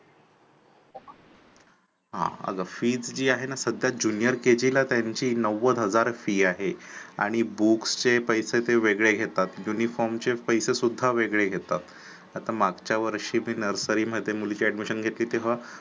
हा अग Fees जी आहे ना सध्या junior kg ला त्यांची नव्वद हजार fee आहे. आणि books चे पैसे ते वेगळे घेतात uniform चे पैसे सुद्धा वेगळे घेतात, आता मागच्या वर्षी मी nursary मध्ये मुलीची admission घेतली तेव्हा